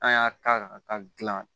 An y'a ta ka taa gilan